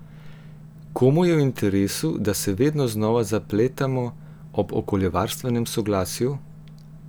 Komu je v interesu, da se vedno znova zapletamo ob okoljevarstvenem soglasju?